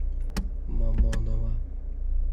мамоново